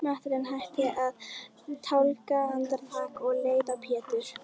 Marteinn hætti að tálga andartak og leit á Pétur.